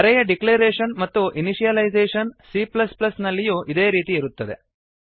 ಅರೇ ಯ ಡಿಕ್ಲೇರೇಶನ್ ಮತ್ತು initialisation c ನಲ್ಲಿಯೂ ಅದೇ ರೀತಿ ಇರುತ್ತದೆ